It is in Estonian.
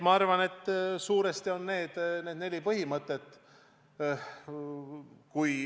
Ma arvan, et suuresti need on need neli põhimõtet.